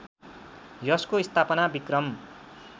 यसको स्थापना विक्रम